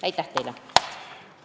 Aitäh teile!